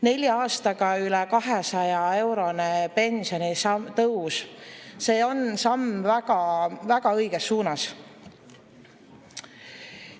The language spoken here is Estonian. Nelja aastaga üle 200-eurone pensionitõus on samm väga-väga õiges suunas.